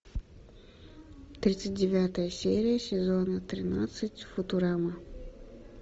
тридцать девятая серия сезона тринадцать футурама